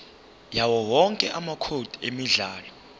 yawowonke amacode emidlalo